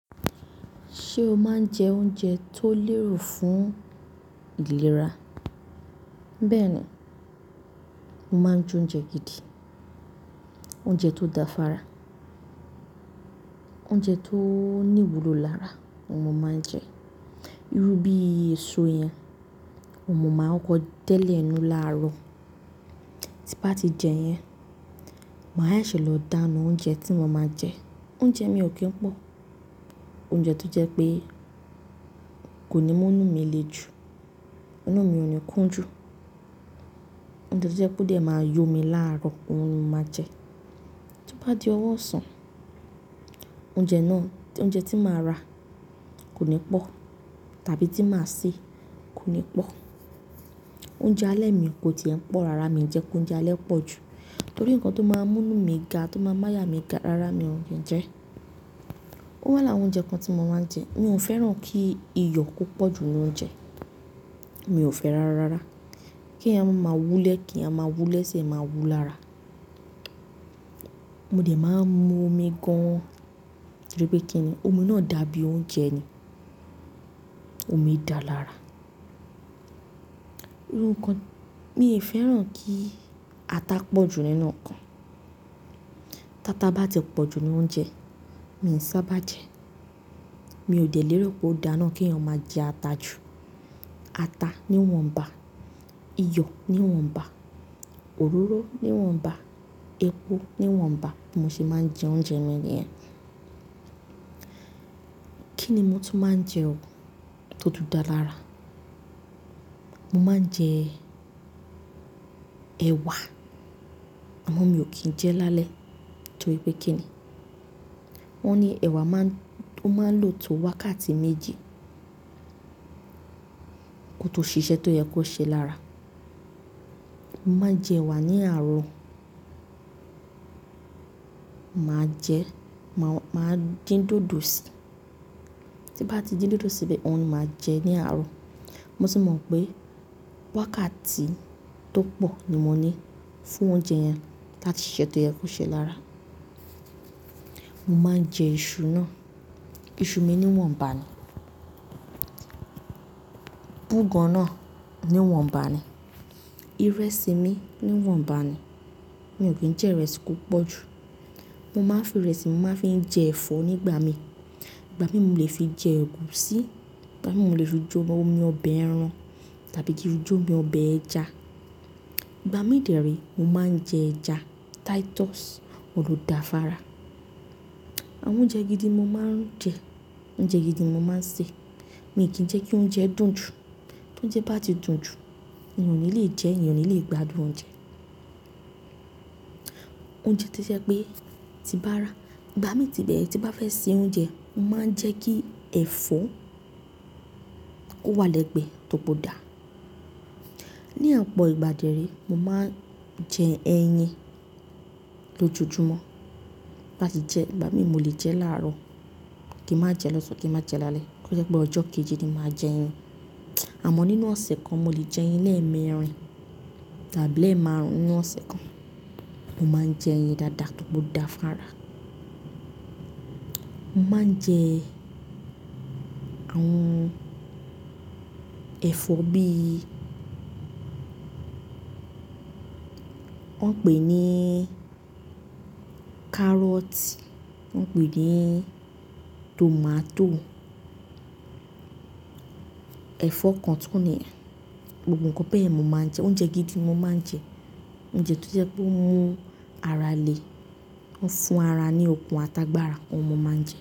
Ṣé o máa ń jẹ oúnjẹ tó lérò fún ìlera? Bẹ́ẹ̀ ni, mo máa ń jẹ oúnjẹ gidi. Oúnjẹ tó da fára, oúnjẹ tó ní ìwúlò lára ni mo máa ń jẹ. Irú bí i èso yẹn mo máa ń kọ tẹ́lẹ̀ inu láàárọ̀. Tí bá ti jẹ yẹn, màá ṣẹ̀lọ̀ dáná oúnjẹ tí mo máa jẹ. Oúnjẹ mi ò kí ń pọ̀. Oúnjẹ tó jẹ́ pé kò ní mú inú mi le jù, inú mi ò ní kún jù. Oúnjẹ tó jẹ́ pé ó de máa yọ mi láàárọ̀, òhun ni mo máa jẹ. Tí ó bá di ọwọ́ ọ̀sán, oúnjẹ náà, oúnjẹ tí màá rà kò ní pọ̀ tàbí tí màá sè kò ní pọ̀. Oúnjẹ alẹ́ mi kò ti í e n pọ̀. Rárá mi jẹ k'oúnjẹ alẹ́ pọ̀ jù torí nǹkan tó máa mú inú mi ga tó máa máa yà mí ga rárá mi ò ní jẹ ẹ́. Ó wá lára awon oúnjẹ kan tí mo máa ń jẹ. Mi ò fẹ́ràn kí iyọ̀ kó pọ̀ jù nínú oúnjẹ. Mi ò fẹ́ rárárara. Kí èèyàn máa wulẹ̀ kì í máa wulẹ̀ ṣe máa wú lára. Mo dẹ̀ máa ń mu omi gan-an torí pé kí ni? Omi náà dàbí oúnjẹ ni. Omi dà lára. Irú nǹkan, mi ì fẹ́ràn kí ata pọ̀ jù nínú nnkan. Tata bá ti pọ̀ jù nínú oúnjẹ, mi n sábà jẹ ẹ́. Mi ò dẹ̀ lérò pé ó dáa ná kí èèyàn máa jẹ ata jù. Ata níwọ̀nba, iyọ̀ níwọ̀nba, òróró níwọ̀nba, epo níwọ̀nba bi mo ṣe máa ń jẹ oúnjẹ mi nìyẹn. Kí ni mo tún máa ń jẹ ò tó tùn dá lára? Mo máa ń jẹ ẹ̀wà àmọ́ mi ò kí ń jẹ ẹ́ lálẹ́ torí pé kí ni? Wọ́n ní ẹ̀wà máa ń, ó máa ń lò tó wákàtí méjì kó tó ṣiṣẹ́ tó yẹ kó ṣe lára. Mo máa jẹ ẹ̀wà ní àárọ̀. Màá jẹ, màá dín dòdò sí i. Tí bá ti dín dòdò síbẹ̀, òun ni màá jẹ ní àárọ̀. Mo sì mọ̀ pé wákàtí tó pọ̀ ni mo ní fún oúnjẹ yẹn láti ṣiṣẹ́ tó yẹ kó ṣe lára. Mo máa ń jẹ iṣu náà. Iṣu mi níwọ̀nba ni. Búgan náà níwọ̀nba ni. Irẹsì mi níwọ̀nba ni. Mi ò kí ń jẹ ìrẹsì kó pọ̀ jù. Mo máa ń fi ìrẹsì mo máa ń fi n jẹ ẹ̀fọ́ nígbà mi. Ìgbà míì mo lè fi jẹ ẹ̀gúsí, ìgbà míì mo lè fi je omi ọbẹ̀ ẹran tàbí kí je omi ọbẹ̀ ẹja. Ìgbà mí dẹ̀re mo máa ń jẹ ẹja titus, òun lò dà fára. Àwọn oúnjẹ gidi mo máa ń jẹ, oúnjẹ gidi mo máa ń sè. Mi ò kí ń jẹ́ kí oúnjẹ dùn jù. Tóúnjẹ bá ti dùn jù, èèyàn ò ní lè jẹ ẹ́, èèyàn ò ní lè gbádùn oúnjẹ. Oúnjẹ tó jẹ́ pé tí bá ra, ìgbà mí tí bẹ́ẹ̀ tí bá fẹ́ se oúnjẹ, mo máa ń jẹ́ kí ẹ̀fọ́ kó wà lẹ́gbẹ̀ẹ́ tóri pe o dà. Ni opọ̀ ìgbà dé re mo máa ń jẹ ẹyin lójoojúmọ́. Bá ti jẹ, ìgbà míì mo lè jẹ ẹ́ láàárọ̀, kí n má jẹ lọ́san, kí n má jẹ lálẹ́. Ó jẹ́ pé ọjọ́ kejì ni màá jẹ ẹyin. Àmọ́ nínú ọ̀sẹ̀ kan mo lè jẹ ẹyin lẹ́ẹ̀mẹrin tàbí lẹ́ẹ̀màrún nínu ọ̀sẹ̀ kan. Mo máa ń jẹ ẹyin dáadáa tóri pe o dà fára. Mo máa ń jẹ àwọn ẹ̀fọ́ bí i wọ́n ń pè ní kárọ́tì, wọ́n ń pè ní tòmátò, ẹ̀fọ́ kan tó ní gbogbo nǹkan bẹ́ẹ̀ ni mo máa ń jẹ. Oúnjẹ gidi ni mo máa ń jẹ. Oúnjẹ tó jẹ́ pé ó mú ara le, ó ń fún ara ní okun ata gbára, òhun mo máa ń jẹ.